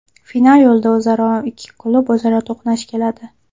Final yo‘lida mazkur ikki klub o‘zaro to‘qnash keladi.